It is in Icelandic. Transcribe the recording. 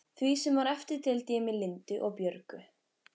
Því sem var eftir deildi ég með Lindu og Björgu.